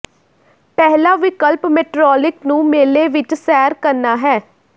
ਪਹਿਲਾ ਵਿਕਲਪ ਮੇਟਰੋਲਿਕ ਨੂੰ ਮੇਲੇ ਵਿੱਚ ਸੈਰ ਕਰਨਾ ਹੈ